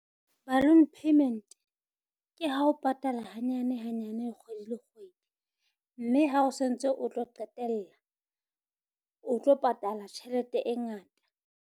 Balloon payment ke ha o patala hanyane hanyane kgwedi le kgwedi, mme ha o santse o tlo qetella o tlo patala tjhelete e ngata.